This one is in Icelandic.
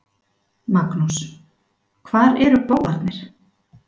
Magnús: Hvar eru bófarnir?